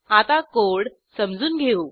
आता कोड समजून घेऊ